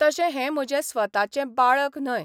तशें हें म्हजें स्वताचें बाळक न्हय.